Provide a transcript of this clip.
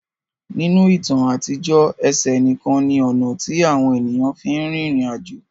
Ninu itan atijọ, ẹsẹ nikan ni ọna ti awọn eniyan fin rin irin ajo.